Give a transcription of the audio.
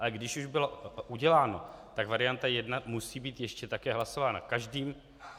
Ale když už bylo uděláno, tak varianta 1 musí být ještě taky hlasována.